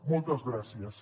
moltes gràcies